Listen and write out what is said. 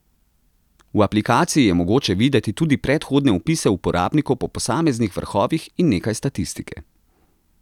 V aplikaciji je mogoče videti tudi predhodne vpise uporabnikov po posameznih vrhovih in nekaj statistike.